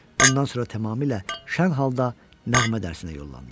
Bundan sonra tamamilə şən halda nəğmə dərsinə yollandım.